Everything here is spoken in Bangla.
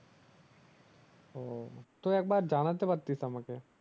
ও তো একবার জানাতে পারতিস আমাকে